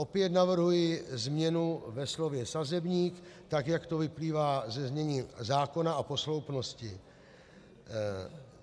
Opět navrhuji změnu ve slově "sazebník", tak jak to vyplývá ze znění zákona a posloupnosti.